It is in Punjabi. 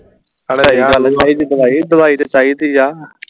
ਦਵਾਈ ਦਵਾਈ ਤੇ ਚਾਹੀਦੀ ਆ